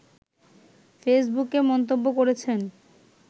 ফেসবুকে মন্তব্য করেছেন